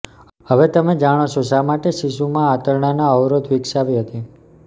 હવે તમે જાણો છો શા માટે શિશુમાં આંતરડાના અવરોધ વિકસાવી હતી